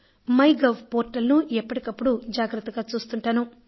MyGov portal ను ఎప్పటికప్పుడు జాగ్రత్తగా చూస్తుంటాను